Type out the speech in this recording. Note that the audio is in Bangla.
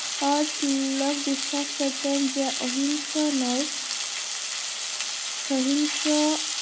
ও তিলক বিশ্বাস করতেন যে অহিংস নয় সহিংস